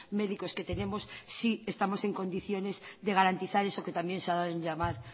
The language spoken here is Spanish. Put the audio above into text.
médicos que tenemos sí estamos en condiciones de garantizar eso que también se ha dado en llamar